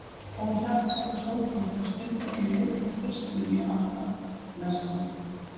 Ó hjartkæra Sólrún, þá stund er ég leit þig fyrst mun ég alt af blessa.